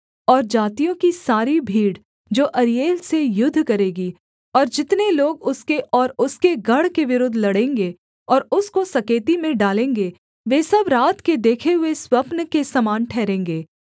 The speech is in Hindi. और जातियों की सारी भीड़ जो अरीएल से युद्ध करेगी और जितने लोग उसके और उसके गढ़ के विरुद्ध लड़ेंगे और उसको सकेती में डालेंगे वे सब रात के देखे हुए स्वप्न के समान ठहरेंगे